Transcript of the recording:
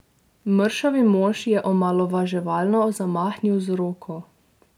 Mršavi mož je omalovaževalno zamahnil z roko.